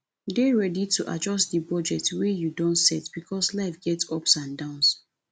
dey ready to adjust di budget wey you don set because life get ups and downs